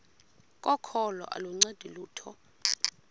kokholo aluncedi lutho